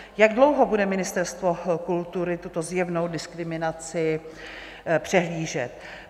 Jak dlouho bude Ministerstvo kultury tuto zjevnou diskriminaci přehlížet?